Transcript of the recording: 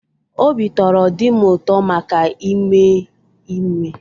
Obi tọrọ di m ụtọ maka ime ime.